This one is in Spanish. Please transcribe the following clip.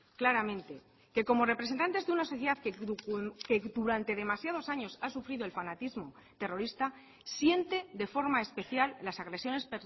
claramente que como representantes de una sociedad que durante demasiados años ha sufrido el fanatismo terrorista siente de forma especial las agresiones